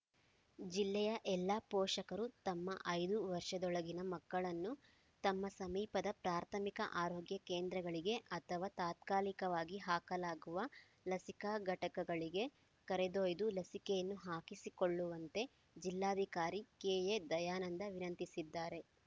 ಜಿಲ್ಲೆಯ ಎಲ್ಲಾ ಪೋಷಕರು ತಮ್ಮ ಐದು ವರ್ಷದೊಳಗಿನ ಮಕ್ಕಳನ್ನು ತಮ್ಮ ಸಮೀಪದ ಪ್ರಾಥಮಿಕ ಆರೋಗ್ಯ ಕೇಂದ್ರಗಳಿಗೆ ಅಥವಾ ತಾತ್ಕಾಲಿಕವಾಗಿ ಹಾಕಲಾಗುವ ಲಸಿಕಾ ಘಟಕಗಳಿಗೆ ಕರೆದೊಯ್ದು ಲಸಿಕೆಯನ್ನು ಹಾಕಿಸಿಕೊಳ್ಳುವಂತೆ ಜಿಲ್ಲಾಧಿಕಾರಿ ಕೆಎ ದಯಾನಂದ ವಿನಂತಿಸಿದ್ದಾರೆ